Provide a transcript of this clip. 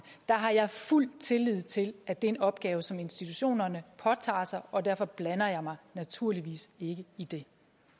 har jeg fuld tillid til at det er en opgave som institutionerne påtager sig og derfor blander jeg mig naturligvis ikke i det